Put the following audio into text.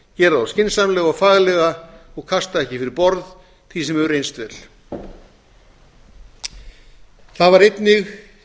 þá skynsamlega og faglega og kasta ekki fyrir borð því sem hefur reynst vel það var einnig